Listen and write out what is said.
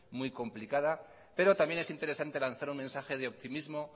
muy complicada pero también es interesante lanzar un mensaje de optimismo